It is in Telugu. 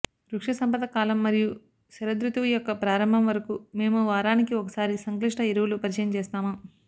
వృక్షసంపద కాలం మరియు శరదృతువు యొక్క ప్రారంభం వరకు మేము వారానికి ఒకసారి సంక్లిష్ట ఎరువులు పరిచయం చేస్తాము